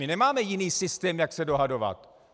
My nemáme jiný systém, jak se dohadovat.